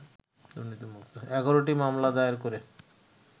১১টি মামলা দায়ের করে